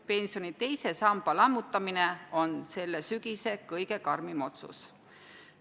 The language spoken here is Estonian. Pensioni teise samba lammutamine on selle sügise kõige karmim otsus.